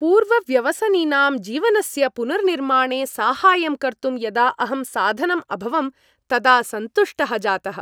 पूर्वव्यसनिनां जीवनस्य पुनर्निर्माणे साहाय्यं कर्तुं यदा अहं साधनम् अभवम् तदा सन्तुष्टः जातः।